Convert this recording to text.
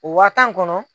O waa tan kɔnɔ